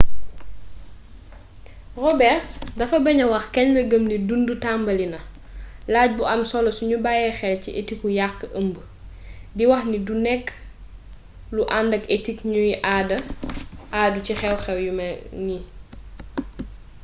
roberts dafa baña wax kañ la gëm ni dundutambali na laaj bu am solo suñu bayyee xel ci etiku yàq ëmb di wax ni du nekk lu andak etik ñuy àddu ci xewxew yu ni mel